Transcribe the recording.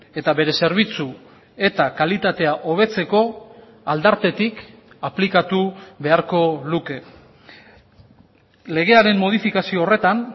eta bere zerbitzu eta kalitatea hobetzeko aldartetik aplikatu beharko luke legearen modifikazio horretan